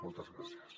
moltes gràcies